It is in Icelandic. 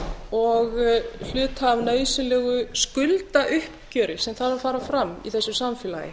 og hluta af nauðsynlegu skuldauppgjöri sem þarf að fara fram í þessu samfélagi